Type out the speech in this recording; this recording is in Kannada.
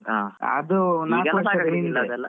ಹಾ ಈಗ ಸಾಕುಗುದಿಲ್ಲ ಅದು.